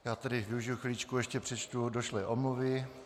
Já tedy využiji chviličku, ještě přečtu došlé omluvy.